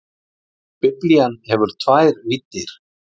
Biblían hefur tvær víddir.